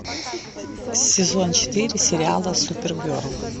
сезон четыре сериала супергерл